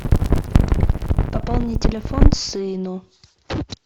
пополни телефон сыну